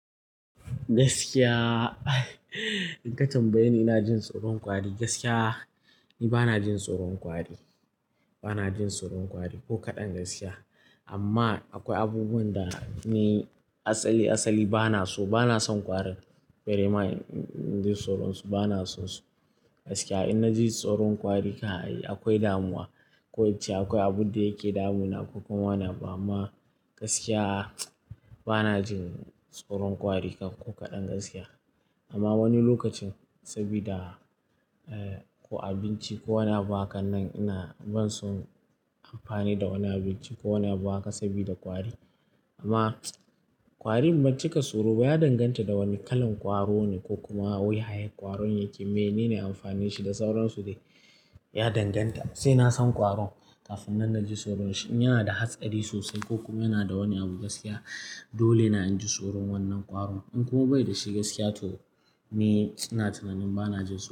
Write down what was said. Gaskiya, in ka tambaye ni ina jin tsoron ƙwari, gaskiya ni bana jin tsoron ƙwari, bana jin tsoron ƙwari ko kaɗan gaskiya. Amma akwai abubuwan da ne asali asali bana so, bana son ƙwarin. Bare ma in ji tsoron su bana so su. Gaskiya in na ji tsoron ƙwari ka yi akwai damuwa. Ko ya ce akwai abun da yake damuna ko kuma wani ba, amma gaskiya bana jin tsoron ƙwari ko kaɗan gaskiya. Amma wani lokacin saboda ko abinci ko wani abu haka nan ina ban so amfani da wani abinci ko wani abu haka saboda ƙwari. Amma ƙwari banci ka tsoro ba ya danganta da wani kalan ƙwaro ne ko kuma wuyayyen ƙwaron yake. Me ni ne amfani shi da sauransu dai ya danganta. Sai na san ƙwaron kafin na ji tsoron shi. In yana da hatsari sosai ko kuma yana da wani abu gaskiya dole na ji tsoron wannan ƙwaron. In kuma bai da shi gaskiya to ni ina tunanin bana jin tsoro.